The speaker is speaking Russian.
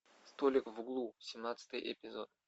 столик в углу семнадцатый эпизод